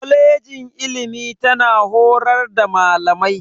Kwalejin ilimi tana horar da Malamai.